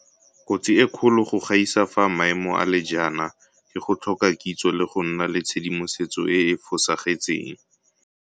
Kotsi e kgolo go gaisa fa maemo a le jaana ke go tlhoka kitso le go nna le tshedimosetso e e fosagetseng.